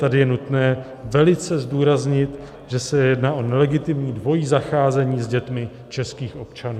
Tady je nutné velice zdůraznit, že se jedná o nelegitimní dvojí zacházení s dětmi českých občanů.